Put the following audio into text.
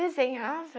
Desenhava.